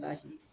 Baasi